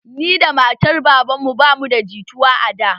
Ni da matan babanmu ba mu da jituwa a da